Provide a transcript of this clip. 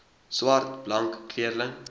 swart blank kleurling